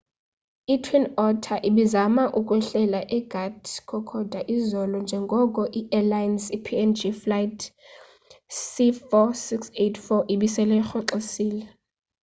i-twin otter ibizama ukwehlela egat kokoda izolo njengoko iairlines png flight c4684 ibisele irhoxisile